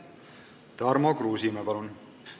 Tarmo Kruusimäe, palun!